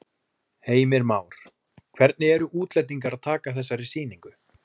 Heimir Már: Hvernig eru útlendingar að taka þessari sýningu?